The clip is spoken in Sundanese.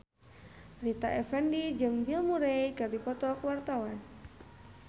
Rita Effendy jeung Bill Murray keur dipoto ku wartawan